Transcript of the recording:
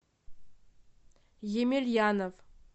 емельянов